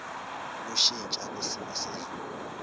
ukushintsha kwesimo sezulu